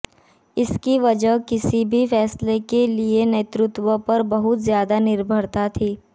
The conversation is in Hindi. इसकी वजह किसी भी फैसले के लिए नेतृत्व पर बहुत ज्यादा निर्भरता थी